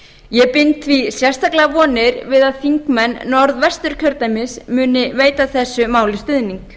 ég bind því sérstaklega vonir við að þingmenn norðvesturkjördæmis muni veita þessu máli stuðning